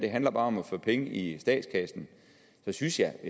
handler om at få penge i statskassen synes jeg